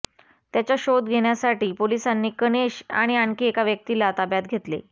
त्याचा शोध घेण्यासाठी पोलिसांनी कनेश आणि आणखी एका व्यक्तीला ताब्यात घेतले